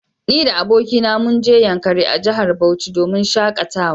Ni da abokina munje yankari a jahar Bauchi domin shakatawa